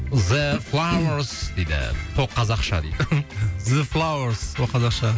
зе флауэрс дейді қазақша дейді зе флауэрс ол қазақша